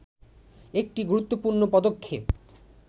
একটি গুরুত্বপূর্ণ পদক্ষেপ